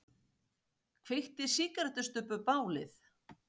Kveikti sígarettustubbur bálið